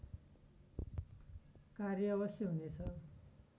कार्य अवश्य हुनेछ